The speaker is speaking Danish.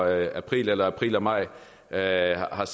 april april og maj er er